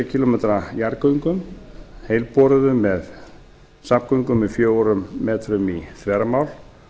kílómetrar jarðgöngum heilboruðum með safngöngum með fjórum metrum í þvermál